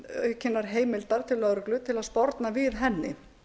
aukinnar heimildar til lögreglu til að sporna við henni